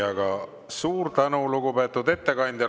Aga suur tänu, lugupeetud ettekandja!